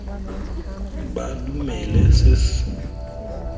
ba dumele se ba se